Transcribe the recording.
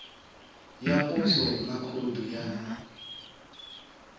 ya poswo na khoudu ya